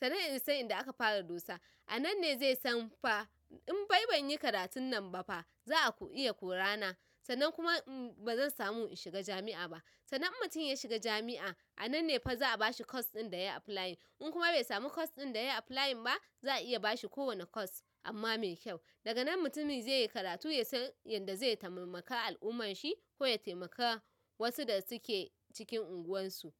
Sannan ya san inda aka fara dosa. A nan lne zaisan fa infa bai banyi karatun nan bafa za'a iya korana sannan kuma bazan samu in shiga jami'a ba. Sannan in mutum yashiga jami'a ananne fa za'a bashi course ɗin dayayi apply. In kuma baisamu course ɗin dayayi apply ba za'a iya bashi kowane course amma mai kyau. Daganan mutumi zaiyi karatu yasan yadda zai taimaka al'ummarshi koya taimaka wasu da suke cikin unguwar su.